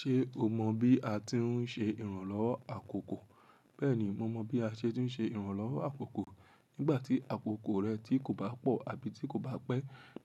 Ṣe o mọ bí a ti ń ṣe ìrànlọ́wọ́ àkókò? Bẹ́ẹ̀ni, mo mọ bí a ṣe tún ṣe ìrànlọ́wọ́ àkókò. Nígbàtí àkókò rẹ tí kò bá pọ àbí tí kò bá pẹ.